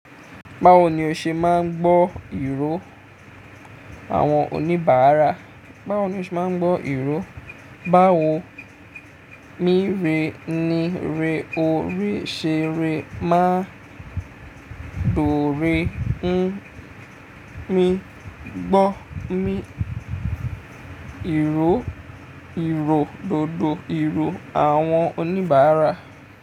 Báwo ni o ṣe máa ń gbọ́ ìró àwọn oníbàárà? Báwo ni o ṣe máa ń gbọ́ ìró? Báwo mi re ni re ore ṣe re máa dore n mi gbọ́ mi ìró, ìró dòdò ìró àwọn oníbàárà.